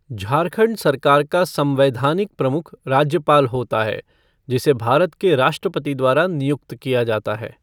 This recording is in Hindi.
झारखंड सरकार का संवैधानिक प्रमुख राज्यपाल होता है, जिसे भारत के राष्ट्रपति द्वारा नियुक्त किया जाता है।